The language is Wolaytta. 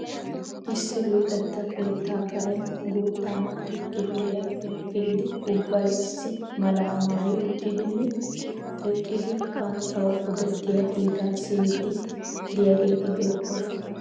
Issi luxetta keettaa Karen guutta naati kifiliyappe kiyidi ubbay issi malaa maayi uttidinne eqqidi banttawu odettiya kiitaa siyyiiddi diyageeti beettoosona.